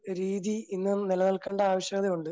രീതി ഇന്ന് നിലനിൽക്കേണ്ടാവശ്യകതയുണ്ട്.